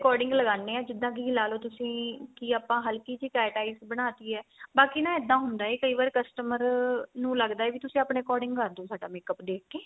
according ਲਗਾਂਦੇ ਆ ਜਿੱਦਾਂ ਕੀ ਲਾਲੋ ਤੁਸੀਂ ਕੀ ਆਪਾਂ ਹਲਕੀ ਜੀ cat eyes ਬਣਾ ਤੀ ਏ ਬਾਕੀ ਨਾ ਇੱਦਾਂ ਹੁੰਦਾ ਏ ਕਈ ਵਾਰ customer ਨੂੰ ਲੱਗਦਾ ਵੀ ਤੁਸੀਂ ਆਪਣੇ according ਕਰਦੇ ਓ ਸਾਡਾ makeup ਦੇਖ ਕੇ